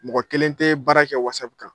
Mɔgɔ kelen tɛ baara kɛ wasapu kan